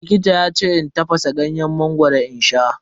Likita yace in tafasa ganyen mangoro in sha.